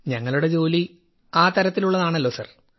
ഞങ്ങളുടെ ജോലി ആ തരത്തിലുള്ളതാണല്ലോ സർ